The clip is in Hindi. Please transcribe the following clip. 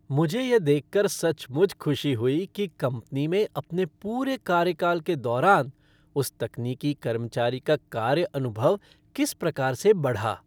मुझे यह देखकर सचमुच खुशी हुई कि कंपनी में अपने पूरे कार्यकाल के दौरान उस तकनीकी कर्मचारी का कार्य अनुभव किस प्रकार से बढ़ा।